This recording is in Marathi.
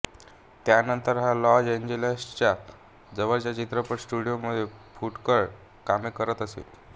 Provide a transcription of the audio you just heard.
त्यानंतर हा लॉस एंजेलसच्या जवळच्या चित्रपट स्टुडियोंमध्ये फुटकळ कामे करीत असे